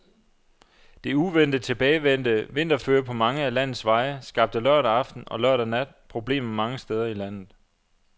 Det uventet tilbagevendte vinterføre på mange af landets veje skabte lørdag aften og lørdag nat problemer mange steder i landet.